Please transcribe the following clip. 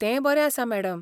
तें बरें आसा मॅडम.